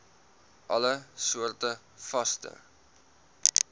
alle soorte vaste